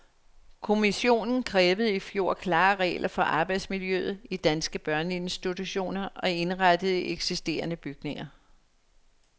Kommissionen krævede i fjor klare regler for arbejdsmiljøet i danske børneinstitutioner indrettet i eksisterende bygninger.